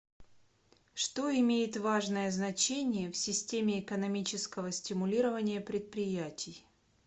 что имеет важное значение в системе экономического стимулирования предприятий